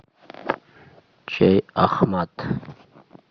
чай ахмат